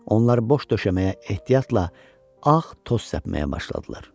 Onlar boş döşəməyə ehtiyatla ağ toz səpməyə başladılar.